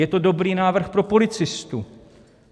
Je to dobrý návrh pro policistu.